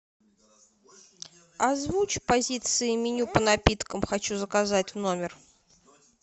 озвучь позиции меню по напиткам хочу заказать в номер